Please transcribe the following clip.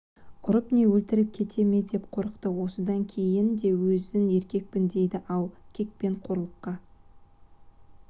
ұрып не өлтіріп кете ме деп қорықты осыдан кейін де өзін еркекпін дейді-ау кек пен қорлыққа